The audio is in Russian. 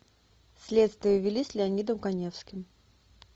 следствие вели с леонидом каневским